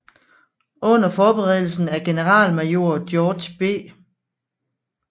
Under forberedelsen af generalmajor George B